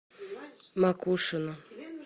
макушино